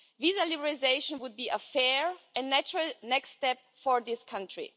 Visa liberalisation would be a fair and natural next step for this country.